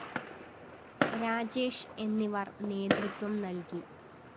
രാജേഷ് എന്നിവര്‍ നേതൃത്വം നല്‍കി